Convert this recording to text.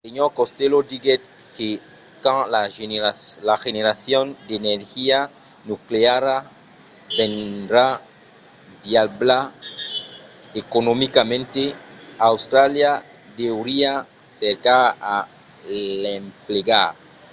sr. costello diguèt que quand la generacion d'energia nucleara vendrà viabla economicament austràlia deuriá cercar a l'emplegar